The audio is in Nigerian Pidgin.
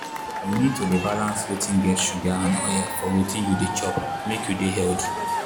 you need to dey balance wetin get sugar and oil for wetin you dey chop make you dey healthy.